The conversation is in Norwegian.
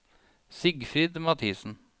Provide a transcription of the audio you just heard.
Sigfrid Mathiesen